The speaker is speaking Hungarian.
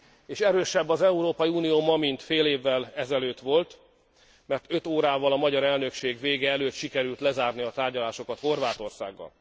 És erősebb az Európai Unió ma, mint fél évvel ezelőtt volt, mert öt órával a magyar elnökség vége előtt sikerült lezárni a tárgyalásokat Horvátországgal.